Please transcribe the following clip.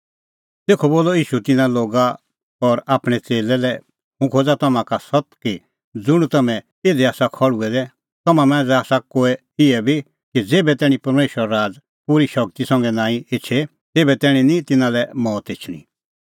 ईशू बोलअ तिन्नां लै हुंह खोज़ा तम्हां का सत्त कि इधी ज़ेतरै खल़्हुऐ दै आसा तिन्नां मांझ़ै आसा कोऐ इहै बी कि ज़ेभै तैणीं परमेशरो राज़ पूरी शगती संघै नांईं एछे तेभै तैणीं निं तिन्नां लै मौत एछणी